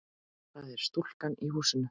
Það er stúlkan í húsinu.